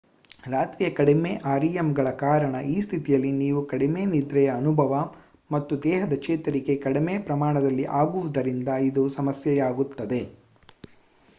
ರಾತ್ರಿಯ ಕಡಿಮೆ rem ಗಳ ಕಾರಣ ಈ ಸ್ಥಿತಿಯಲ್ಲಿ ನೀವು ಕಡಿಮೆ ನಿದ್ರೆಯ ಅನುಭವ ಮತ್ತು ದೇಹದ ಚೇತರಿಕೆ ಕಡಿಮೆ ಪ್ರಮಾಣದಲ್ಲಿ ಆಗುವುದರಿಂದ ಇದು ಸಮಸ್ಯೆಯಾಗುತ್ತದೆ